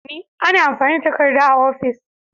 Ana amfani da takarda a ofis.